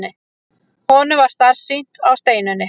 Honum varð starsýnt á Steinunni.